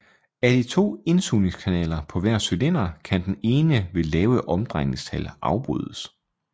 Af de to indsugningskanaler på hver cylinder kan den ene ved lave omdrejningstal afbrydes